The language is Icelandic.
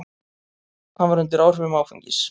Hann var undir áhrifum áfengis.